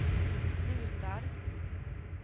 slutar